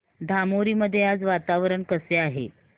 धामोरी मध्ये आज वातावरण कसे आहे